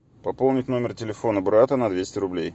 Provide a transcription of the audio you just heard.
пополнить номер телефона брата на двести рублей